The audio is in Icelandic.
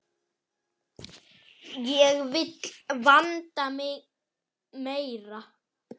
Ég vil vanda mig meira.